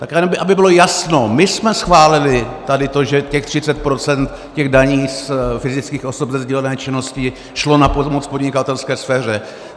Tak aby bylo jasno, my jsme schválili tady to, že těch 30 % daní z fyzických osob ze sdílené činnosti šlo na pomoc podnikatelské sféře.